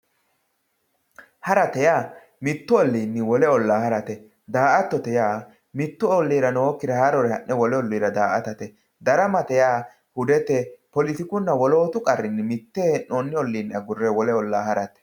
harate yaa mittu olliinni wole ollaa harate daa''attote yaa mittu olliira nookkire haarore ha'ne wolu olliira daa''attate darama yaa hudetenni poletikuninna wolootu qarrinni mitte hee'noonni olliinni wole ollaa harate.